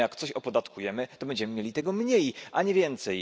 A przecież jak coś opodatkujemy, to będziemy mieli tego mniej, a nie więcej.